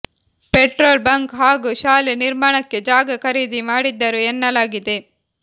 petrol bunk ಹಾಗೂ ಶಾಲೆ ನಿರ್ಮಾಣಕ್ಕೆ ಜಾಗ ಖರೀದಿ ಮಾಡಿದ್ದರು ಎನ್ನಲಾಗಿದೆ